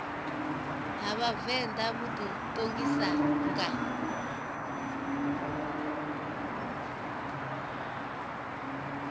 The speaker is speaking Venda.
ha vhavenḓa vhu ḓiṱongisa nga